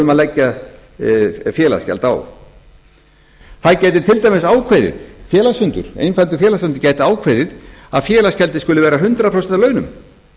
um að leggja félagsgjald á einfaldur félagsfundur gæti til dæmis ákveðið að félagsgjaldið skuli vera hundrað prósent af launum